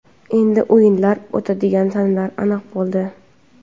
Endi o‘yinlar o‘tadigan sanalar aniq bo‘ldi.